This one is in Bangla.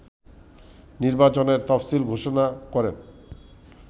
নির্বাচনের তফসিল ঘোষণা করেন